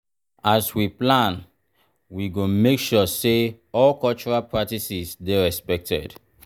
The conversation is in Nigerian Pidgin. as we plan we go make sure say all cultural practices dey respected.